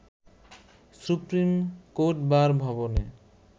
supreme court bar ভবনে